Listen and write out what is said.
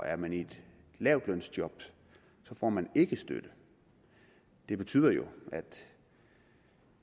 er man i et lavtlønsjob får man ikke støtte det betyder jo at